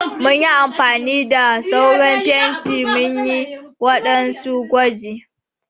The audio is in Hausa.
Mun yi amfani da sauran fenti munyi waɗansu gwaji.